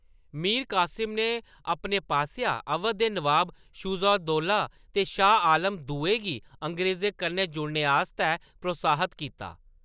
मीर कासिम ने अपनी पासेआ अवध दे नवाब शुजा-उद-दौला ते शाह आलम दुए गी अंग्रेजें कन्नै जुड़ने आस्तै प्रोत्साहत कीता।